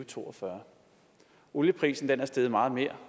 to og fyrre olieprisen er steget meget mere